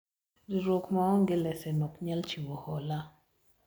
riwruok maonge lesen ok nyal chiwo hola